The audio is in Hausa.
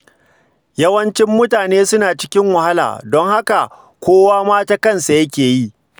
Yawancin mutane suna cikin wahala don haka, kowa ma ta-kansa yake yi.